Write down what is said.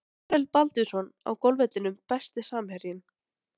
Marel Baldvinsson á golfvellinum Besti samherjinn?